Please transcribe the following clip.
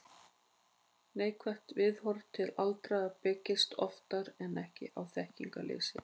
Neikvætt viðhorf til aldraðra byggist oftar en ekki á þekkingarleysi.